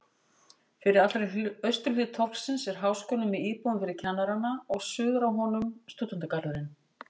Fyrir allri austurhlið torgsins er Háskólinn með íbúðum fyrir kennarana og suður af honum stúdentagarðurinn.